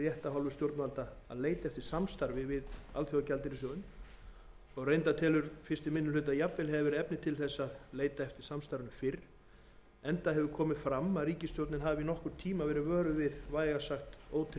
stjórnvalda að leita eftir samstarfi við alþjóðagjaldeyrissjóðinn fyrsti minni hluti telur að jafnvel hafi verið efni til þess að leita eftir samstarfinu fyrr enda hefur komið fram að ríkisstjórnin hafi í nokkurn tíma verið vöruð við vægast sagt ótryggri